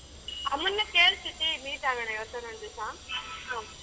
ಅಮ್ಮನ ಕೇಳು meet ಆಗೋಣ ಯವತಾದ್ರೂ ಒಂದಿಸ.